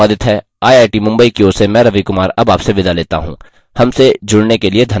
यह स्क्रिप्ट देवेन्द्र कैरवान द्वारा अनुवादित है आई आई टी मुंबई की ओर से मैं रवि कुमार अब आपसे विदा लेता हूँ